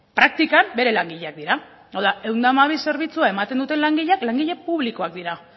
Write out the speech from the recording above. praktikan bere langileak dira hau da ehun eta hamabi zerbitzua ematen duten langileak langile publikoak dira